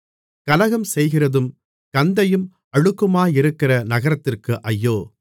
கலகம் செய்கிறதும் கந்தையும் அழுக்குமாயிருக்கிற நகரத்திற்கு ஐயோ